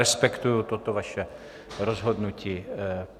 Respektuji toto vaše rozhodnutí.